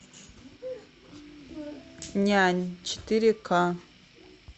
нянь четыре ка